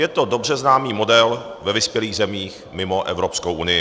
Je to dobře známý model ve vyspělých zemích mimo Evropskou unii.